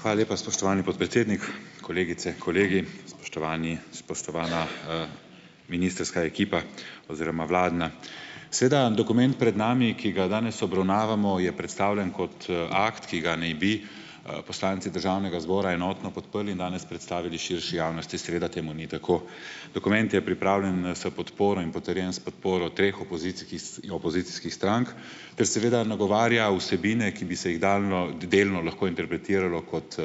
Hvala lepa, spoštovani podpredsednik. Kolegice, kolegi, spoštovani, spoštovana ministrska ekipa oziroma vladna! Sedaj, dokument pred nami, ki ga danes obravnavamo, je predstavljen kot akt, ki ga naj bi, poslanci državnega zbora enotno podprli in danes predstavili širši javnosti; seveda temu ni tako. Dokument je pripravljen s podporo in potrjen s podporo treh opozicijskih strank ter seveda nagovarja vsebine, ki bi se jih delno lahko interpretiralo kot,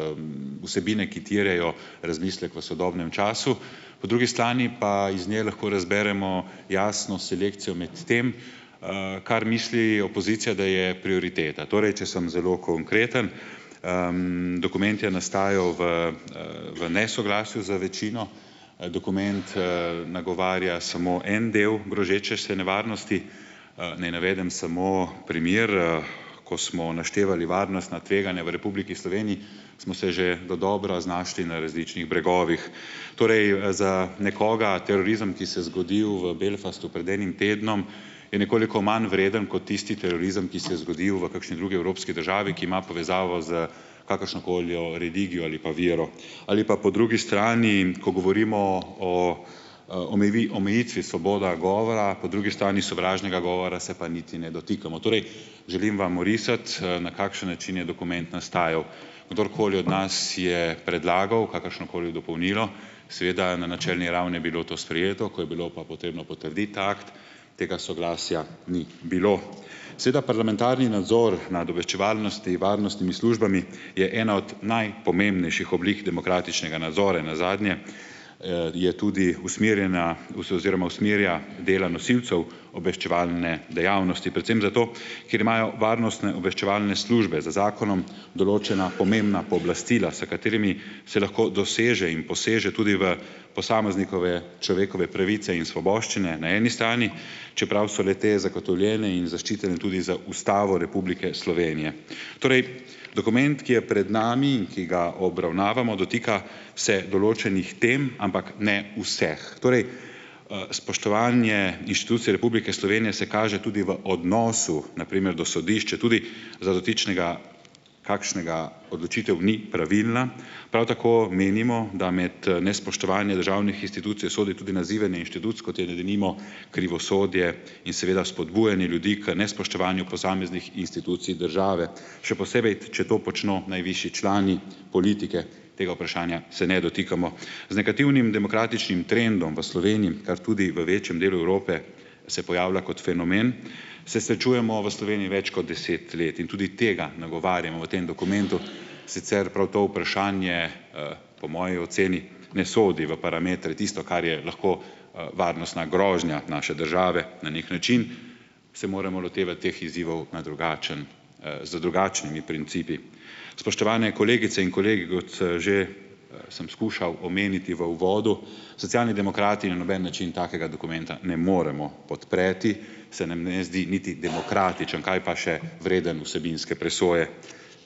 vsebine, ki terjajo razmislek o sodobnem času. Po drugi strani pa iz nje lahko razberemo jasno selekcijo med tem, kar misli opozicija, da je prioriteta. Torej, če sem zelo konkreten, dokument je nastajal v, v nesoglasju z večino, dokument, nagovarja samo en del grozeče se nevarnosti. Naj navedem samo primer: ko smo naštevali varnostna tveganja v Republiki Sloveniji, smo se že dodobra znašli na različnih bregovih, torej za nekoga terorizem, ki se zgodil v Belfastu pred enim tednom, je nekoliko manj vreden kot tisti terorizem, ki se je zgodil v kakšni drugi evropski državi, ki ima povezavo s kakršnokoli religijo ali pa vero. Ali pa po drugi strani, ko govorimo o, omejitvi svobode govora, po drugi strani sovraženega govora se pa niti ne dotikamo. Torej, želim vam orisati, na kakšen način je dokument nastajal. Kdorkoli od nas je predlagal kakršnokoli dopolnilo, seveda na načelni ravni je bilo to sprejeto, ko je bilo pa potrebno potrditi ta akt, tega soglasja ni bilo. Sedaj parlamentarni nadzor nad obveščevalno-varnostnimi službami je ena od najpomembnejših oblik demokratičnega nadzora in nazadnje je tudi usmerjena oziroma usmerja dela nosilcev obveščevalne dejavnosti predvsem zato, ker imajo varnostno-obveščevalne službe z zakonom določena pomembna pooblastila, s katerimi se lahko doseže in poseže tudi v posameznikove človekove pravice in svoboščine na eni strani, čeprav so le-te zagotovljene in zaščitene tudi z Ustavo Republike Slovenije. Torej, dokument, ki je pred nami in ki ga obravnavamo, dotika se določenih tem, ampak ne vseh. Torej, spoštovanje inštucij Republike Slovenije se kaže tudi v odnosu, na primer do sodišč, četudi za dotičnega kakšnega odločitev ni pravilna. Prav tako menimo, da med nespoštovanje državnih institucij sodi tudi nazivanje institucij, kot je denimo krivosodje, in seveda spodbujanje ljudi k nespoštovanju posameznih institucij države, še posebej, če to počno najvišji člani politike, tega vprašanja se ne dotikamo. Z negativnim demokratičnim trendom v Sloveniji, kar tudi v večjem delu Evrope, se pojavlja kot fenomen, se srečujemo v Sloveniji več kot deset let in tudi tega nagovarjamo v tem dokumentu, sicer prav to vprašanje po moji oceni ne sodi v parametre tisto, kar je lahko, varnostna grožnja naše države. Na neki način se moramo lotevati teh izzivov na drugačen, z drugačnimi principi. Spoštovani kolegice in kolegi, kot sem že sem skušal omeniti v uvodu: Socialni demokrati na noben način takega dokumenta ne moremo podpreti, se nam ne zdi niti demokratičen, kaj pa še vreden vsebinske presoje.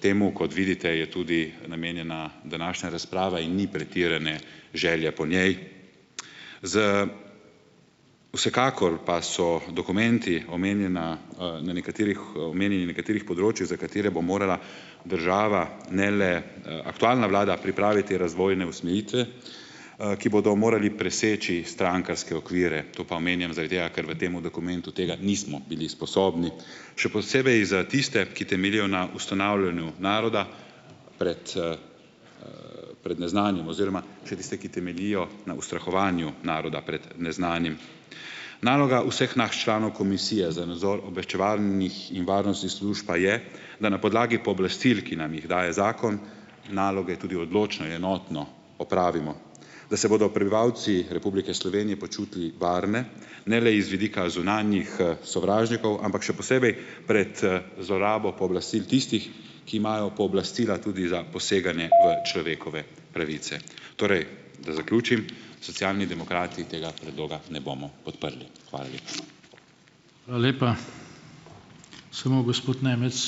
Temu, kot vidite, je tudi namenjena današnja razprava in ni pretirane želje po njej. Vsekakor pa so dokumenti omenjana, na nekaterih omenjeni na nekaterih področjih, za katere bo morala država, ne le aktualna vlada, pripraviti razvojne usmeritve, ki bodo morali preseči strankarske okvire. To pa omenjam zaradi tega, ker v temu dokumentu tega nismo bili sposobni. Še posebej za tiste, ki temeljijo na ustanavljanju naroda pred pred neznanim, oziroma še tiste, ki temeljijo na ustrahovanju naroda pred neznanim. Naloga vseh nas članov Komisije za nadzor obveščevalnih in varnostnih služb pa je, da na podlagi pooblastil, ki nam jih daje zakon, naloge tudi odločno, enotno opravimo, da se bodo prebivalci Republike Slovenije počutili varne ne le iz vidika zunanjih, sovražnikov, ampak še posebej, pred, zlorabo pooblastil tistih, ki imajo pooblastila tudi za poseganje v človekove pravice. Torej, da zaključim: Socialni demokrati tega predloga na bomo podprli. Hvala lepa.